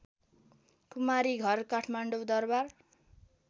Kumari Ghar Kathmandu Darbar